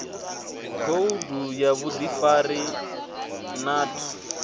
khoudu ya vhuḓifari na ṱhu